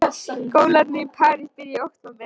Skólarnir í París byrja í október.